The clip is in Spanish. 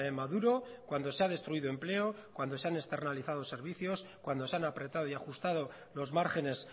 maduro cuando se ha destruido empleo cuando se han externalizado servicios cuando se han apretado y ajustado los márgenes